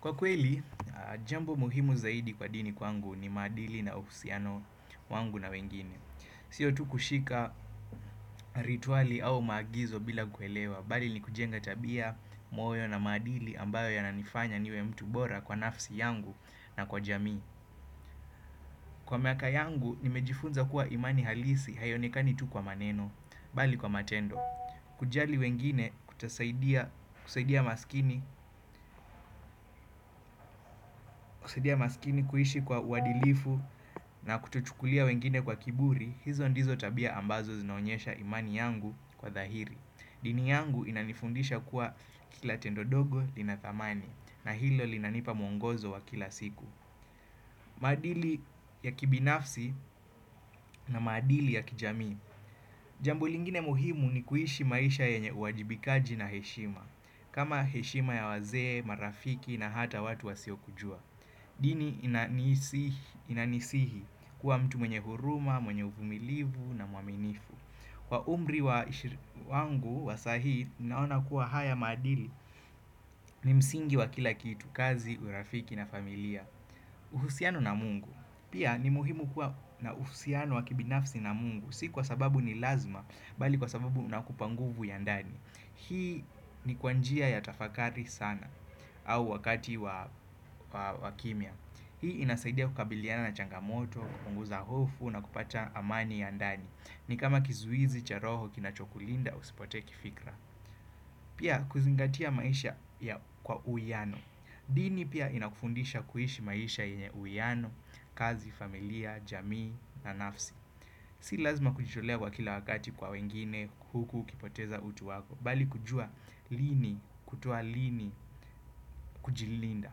Kwa kweli, jambo muhimu zaidi kwa dini kwangu ni maadili na uhusiano wangu na wengine. Siyo tu kushika rituali au maagizo bila kuelewa, bali ni kujenga tabia, moyo na maadili ambayo yananifanya niwe mtu bora kwa nafsi yangu na kwa jamii. Kwa miaka yangu, nimejifunza kuwa imani halisi haionekani tu kwa maneno, bali kwa matendo. Kujali wengine, kusaidia maskini, kuishi kwa uadilifu na kutochukulia wengine kwa kiburi, hizo ndizo tabia ambazo zinaonyesha imani yangu kwa dhahiri. Dini yangu inanifundisha kuwa, kila tendo dogo lina thamani na hilo linanipa mwongozo wa kila siku. Maadili ya kibinafsi na maadili ya kijamii. Jambo lingine muhimu ni kuishi maisha yenye uajibikaji na heshima. Kama heshima ya wazee, marafiki na hata watu wasio kujua. Dini inanisihi kuwa mtu mwenye huruma, mwenye uvumilivu na muaminifu. Kwa umri wangu wa saa hii, naona kuwa haya maadili ni msingi wa kila kitu, kazi, urafiki na familia. Uhusiano na mungu. Pia ni muhimu kuwa na uhusiano wa kibinafsi na mungu. Si kwa sababu ni lazima bali kwa sababu inakupa nguvu ya ndani. Hii ni kwa njia ya tafakari sana au wakati wa wakimia. Hii inasaidia kukabiliana na changamoto, kupunguza hofu na kupata amani ya ndani. Ni kama kizuizi, cha roho, kinachokulinda, usipotee kifikra. Pia kuzingatia maisha kwa uiano. Dini pia inakufundisha kuishi maisha yenye uiano, kazi, familia, jamii na nafsi. Si lazima kujitolewa kila wakati kwa wengine huku ukipoteza utu wako. Bali kujua lini kutoa lini kujilinda.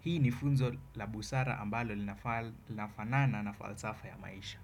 Hii ni funzo la busara ambalo linafanana na falsafa ya maisha.